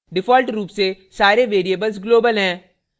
* default रूप से सारे variables global हैं